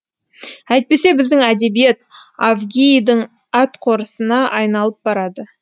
әйтпесе біздің әдебиет авгийдің атқорысына айналып барады